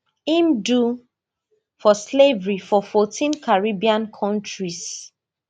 im do for slavery for fourteen caribbean kontris